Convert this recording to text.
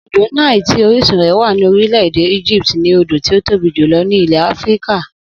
Odò Nile tí orísun rè̩ wà ní orílè̩-èdè Egypt ni odò tí ó tóbi jùlo̩ ní ilè̩ Áfíríkà